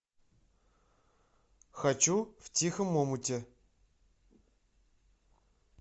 хочу в тихом омуте